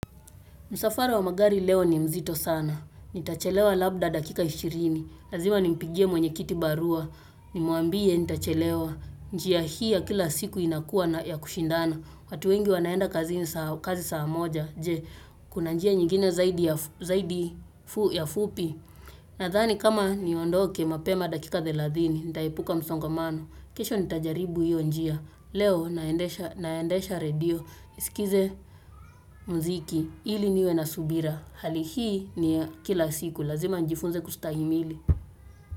Msafara wa magari leo ni mzito sana. Nitachelewa labda dakika 20. Lazima nimpigie mwenyekiti barua. Nimwambie nitachelewa. Njia hii ya kila siku inakua ya kushindana. Watu wengi wanaenda kazini saa moja. Je, kuna njia nyigine zaidi fupi. Na dhani kama ni ondoke mapema dakika 30. Nitaepuka msongamano. Kesho nitajaribu hiyo njia. Leo naendesha radio. Iskize mziki ili niwe na subira hali hii niya kila siku lazima njifunze kustahimili.